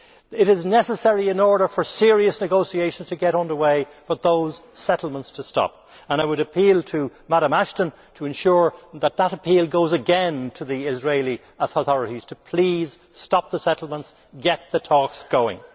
It is necessary, in order for serious negotiations to get under way, for those settlements to stop. I would appeal to Ms Ashton to ensure that that appeal goes again to the Israeli authorities to please stop the settlements and get the talks going.